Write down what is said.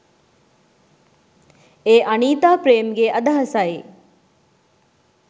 ” ඒ අනීතා ප්‍රේම්ගේ අදහසයි.